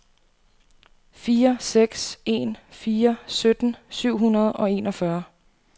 fire seks en fire sytten syv hundrede og enogfyrre